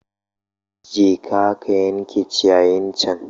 Jeka ka yanke ciyayin can